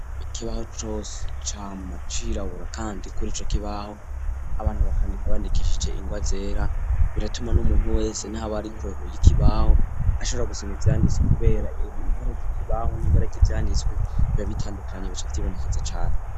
Ikibaho cose cama cirabura kandi kuri ico kibaho abana bakandika bandikishije ingwa zera biratuma n'umuntu wese naba ari kurehuy'ikibaho ashobora gusana ivyanditswe kubera ibahig'ikibaho nibara kivyanditswe bibabitandukanye bikibonekeza cane.